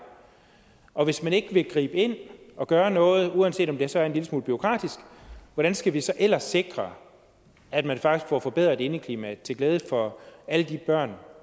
og hvis man ikke vil gribe ind og gøre noget uanset om det så er en lille smule bureaukratisk hvordan skal vi så ellers sikre at man faktisk får forbedret indeklimaet til glæde for alle de børn